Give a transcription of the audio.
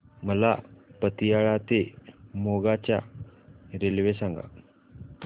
मला पतियाळा ते मोगा च्या रेल्वे सांगा